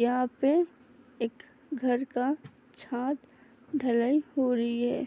यहाँ पे एक घर का छात ढलाई हो रही है